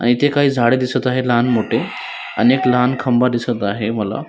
अण इथे काय झाड दिसत आहे लहान मोठे आणि एक लहान खंबा दिसत आहे मला --